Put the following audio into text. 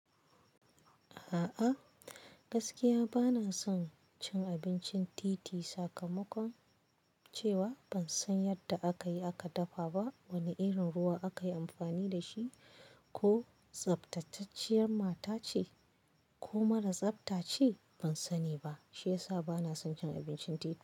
A'a, gaskiya ba na son cin abincin titi sakamakon cewa ban san yadda aka yi aka dafa ba, wane irin ruwa aka yi amfani da shi, ko tsaftatacciyar mata ce ko mara tsafta ce ban sani ba. Shiyasa bana son cin abincin titi.